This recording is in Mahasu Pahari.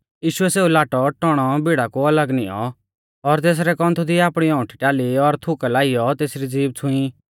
यीशुऐ सौ लाटौटौणौ भीड़ा कु अलग नियौं और तेसरै कौन्थु दी आपणी औंउठी टाल़ी और थुका लाइयौ तेसरी ज़ीभ छ़ूंई